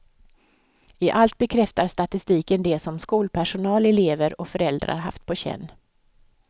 I allt bekräftar statistiken det som skolpersonal, elever och föräldrar haft på känn.